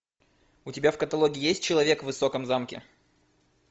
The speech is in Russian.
у тебя в каталоге есть человек в высоком замке